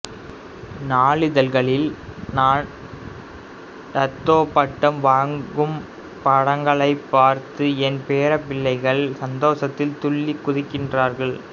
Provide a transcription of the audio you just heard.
நாளிதழிகளில் நான் டத்தோ பட்டம் வாங்கும் படங்களைப் பார்த்து என் பேரப் பிள்ளைகள் சந்தோஷத்தில் துள்ளிக் குதிக்கிறார்கள்